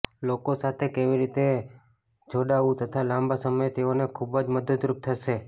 લોકો સાથે કેવી રીતે જોડાવું તથા લાંબા સમયે તેઓને ખુબ જ મદદરુપ થશે